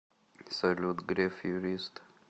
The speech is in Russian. салют греф юрист